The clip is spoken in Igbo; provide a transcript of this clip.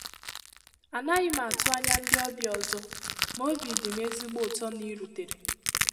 A naghị m atụ anya ndị ọbịa ọzọ, ma obi dị m ezigbo ụtọ na i rutere.